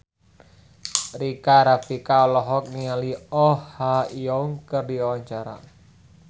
Rika Rafika olohok ningali Oh Ha Young keur diwawancara